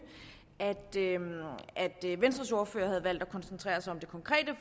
at venstres ordfører havde valgt at koncentrere sig om det konkrete